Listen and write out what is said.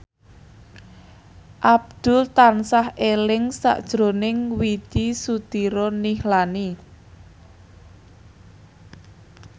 Abdul tansah eling sakjroning Widy Soediro Nichlany